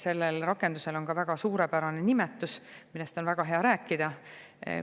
Sellel rakendusel on väga suurepärane nimetus, millest on väga hea rääkida.